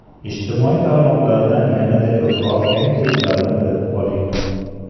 Ijtimoiy tarmoqlardan yanada ko‘proq yangiliklarni bilib oling.